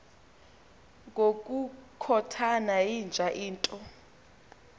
ngokukhothana yinja into